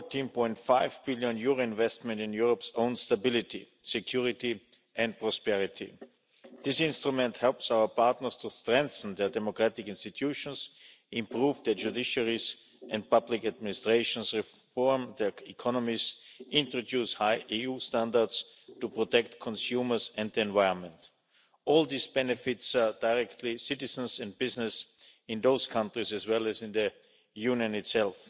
14.5 billion investment in Europe's own stability, security and prosperity. This instrument helps our partners to strengthen their democratic institutions, improve their judiciaries and public administrations, reform their economies and introduce high EU standards to protect consumers and the environment. All this benefits directly citizens and business in those countries, as well as in the Union itself.